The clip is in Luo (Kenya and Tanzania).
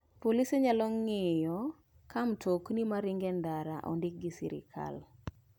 Polise nyalo ng'iyo ka mtokni maringo e ndara ondiki gi sirkal.